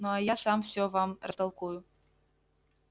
ну а я сам всё вам растолкую